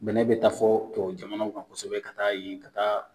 Bɛnɛ bɛ taa fɔ tubabu jamana kan kosɛbɛ ka taa yen ka taa